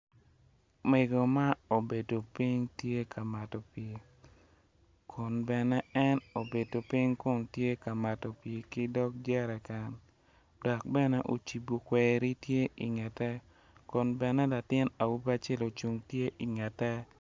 Mego ma obedo piny tye ka mato pii kun bene en obedo piny kun tye ka mato pii ki dog jereken dok bene ocibo kweri tye ingete kun bene awobi acel ocung tye ingete